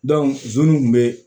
zonzannin kun be